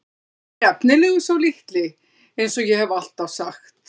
Hann er efnilegur sá litli eins og ég hef alltaf sagt.